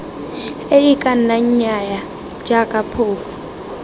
ee kana nnyaya jaaka phofu